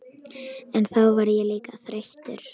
En þá verð ég líka þreyttur.